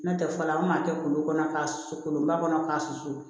N'o tɛ fɔlɔ an kun b'a kɛ kolo kɔnɔ k'a susu kolonba kɔnɔ k'a susu